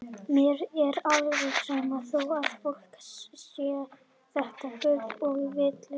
Mér er alveg sama þó að fólk segi þetta bull og vitleysu.